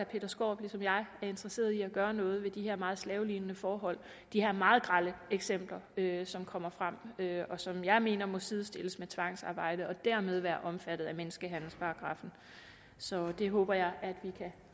peter skaarup ligesom jeg er interesseret i at gøre noget ved de her meget slavelignende forhold de her meget grelle eksempler som kommer frem og som jeg mener må sidestilles med tvangsarbejde og dermed være omfattet af menneskehandelsparagraffen så det håber jeg at vi kan